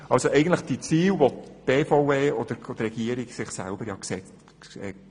Das sind ja eigentlich die Ziele, die sich die Regierung und die BVE selber gesetzt haben.